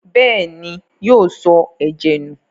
Bẹ́ẹ̀ni, yóò sọ ẹ̀jẹ̀ nù.